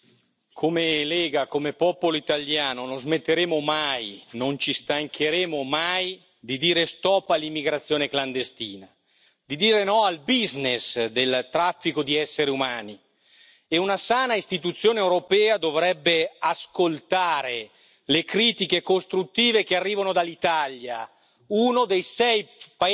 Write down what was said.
Signora Presidente, onorevoli colleghi, come Lega, come popolo italiano non smetteremo mai, non ci stancheremo mai di dire stop all'immigrazione clandestina, di dire no al business del traffico di esseri umani, e una sana istituzione europea dovrebbe ascoltare le critiche costruttive che arrivano dall'Italia,